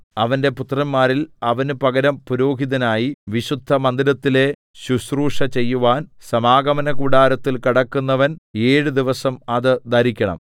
അവന്റെ പുത്രന്മാരിൽ അവന് പകരം പുരോഹിതനായി വിശുദ്ധമന്ദിരത്തിലെ ശുശ്രൂഷ ചെയ്യുവാൻ സമാഗമനകൂടാരത്തിൽ കടക്കുന്നവൻ ഏഴ് ദിവസം അത് ധരിക്കണം